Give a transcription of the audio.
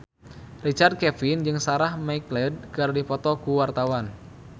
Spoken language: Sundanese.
Richard Kevin jeung Sarah McLeod keur dipoto ku wartawan